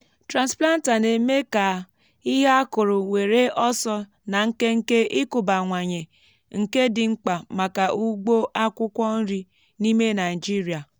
transplanter na-eme ka ihe á kuru wèré ọsọ na nkenke ịkụbawanye nke dị mkpa maka ugbo akwụkwọ nri n’ime naịjirịa.